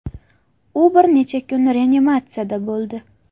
U bir necha kun reanimatsiyada bo‘ldi.